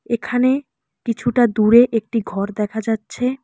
এখানে কিছুটা দূরে একটি ঘর দেখা যাচ্ছে।